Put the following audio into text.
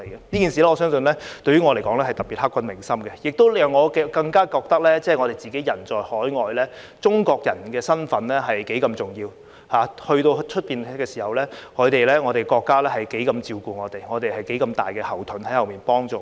這件事我相信對於我來說是特別刻骨銘心的，亦讓我更加覺得我們人在海外時，中國人的身份多重要；到了外地時，我們的國家有多照顧我們，我們有多大的後盾在後面幫助我們。